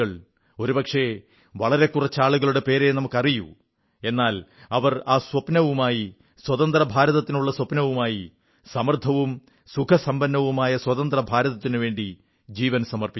ഒരുപക്ഷേ വളരെ കുറച്ച് ആളുകളുടെ പേരേ നമുക്കറിയൂ എന്നാൽ അവർ ആ സ്വപ്നവുമായി സ്വതന്ത്രഭാരതത്തിനുള്ള സ്വപ്നവുമായി സമൃദ്ധവും സുഖസമ്പന്നവുമായ സ്വതന്ത്ര ഭാരതത്തിനുവേണ്ടി ജീവൻ സമർപ്പിച്ചു